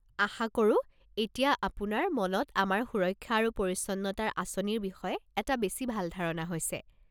আশা কৰোঁ এতিয়া আপোনাৰ মনত আমাৰ সুৰক্ষা আৰু পৰিচ্ছন্নতাৰ আঁচনিৰ বিষয়ে এটা বেছি ভাল ধাৰণা হৈছে।